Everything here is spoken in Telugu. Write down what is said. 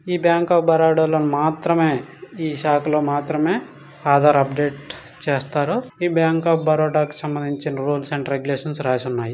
ఈ బ్యాంక్ ఆఫ్ బరోడా లో మాత్రమే ఈ షాఖ లో మాత్రమే ఆధార్ అప్డేట్ చేస్తారు. ఈ బ్యాంక్ ఆఫ్ బరోడా కి సంబంధించిన రూల్స్ అండ్ రెగ్యులేషన్స్ రాసి ఉన్నాయి.